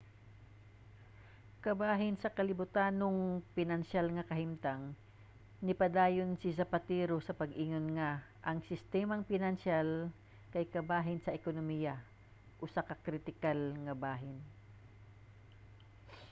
kabahin sa kalibutanhong pinansiyal nga kahimtang nipadayon si zapatero sa pag-ingon nga ang sistemang pinansiyal kay kabahin sa ekonomiya usa ka kritikal nga bahin